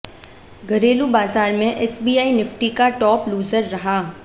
घरेलू बाजार में एसबीआई निफ्टी का टॉप लूजर रहा